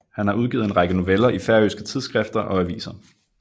Han har udgivet en række noveller i færøske tidsskrifter og aviser